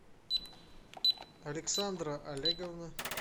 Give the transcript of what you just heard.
александра олеговна